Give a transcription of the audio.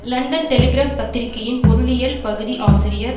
London Telegraph பத்திரிகையின் பொருளியல் பகுதி ஆசிரியர்